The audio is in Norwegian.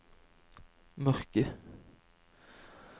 mørke